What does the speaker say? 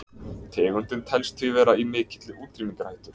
Tegundin telst því vera í mikilli útrýmingarhættu.